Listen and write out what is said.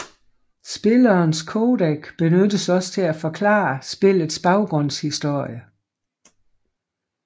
Spillerens codec benyttes også til at forklare spillets baggrundshistorie